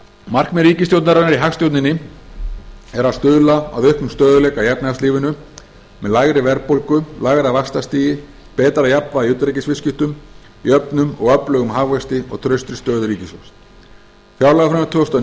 markmið ríkisstjórnarinnar í hagstjórninni er að stuðla að auknum stöðugleika í efnahagslífinu með lægri verðbólgu lægra vaxtastigi betra jafnvægi í utanríkisviðskiptum jöfnum og öflugum hagvexti og traustri stöðu ríkissjóðs fjárlagafrumvarp tvö þúsund og